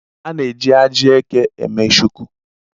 A na-eji ajị eke eme Shuku.